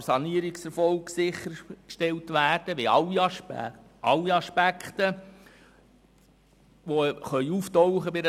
Der Sanierungserfolg kann nur sichergestellt werden, indem alle Aspekte bei einer Sanierung angeschaut werden.